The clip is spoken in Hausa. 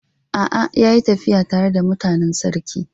A'a, ya yi tafiya tare da mutanen sarki.